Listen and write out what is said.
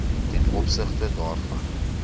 ten opsigte daarvan